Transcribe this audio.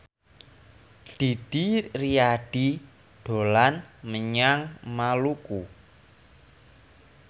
Didi Riyadi dolan menyang Maluku